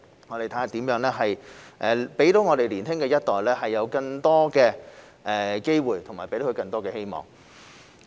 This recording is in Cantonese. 我們會看看如何讓年輕一代有更多機會和希望。